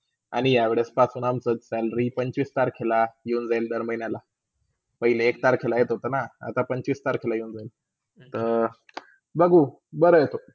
आणि या वेळी सगळ्यांचास salary पंचवीस तारखेला येऊन जाईल दर महिण्याला, पहिले एक तारखेला येत होता ना आता पंचवीस तारखेला येउन जायल. तर बघू बरा हाय.